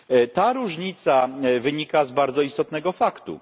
Ta różnica wynika z bardzo istotnego faktu.